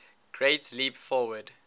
great leap forward